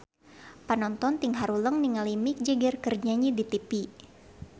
Panonton ting haruleng ningali Mick Jagger keur nyanyi di tipi